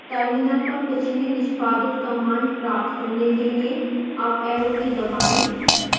terminal पर पिछली निष्पादित command प्राप्त करने के लिए अप arrow की दबाएं